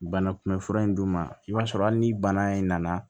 Banakunbɛn fura in d'u ma i b'a sɔrɔ hali ni bana in nana